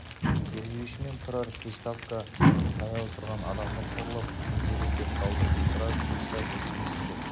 тергеуші мен тұрар приставқа таяу тұрған адамды қорлап не керек деп қалды тұрар пристав естімесін деп